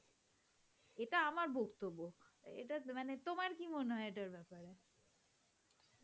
এটা আমার বক্তব্য. এটা মানে তোমার কি মনে হয় এটার ব্যাপারে?